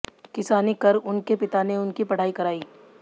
किसानी कर उनके पिता ने उनकी पढ़ाई कराई